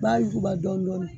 B'a yuguba dɔɔnin dɔɔnin